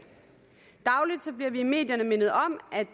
vi bliver dagligt i medierne mindet om at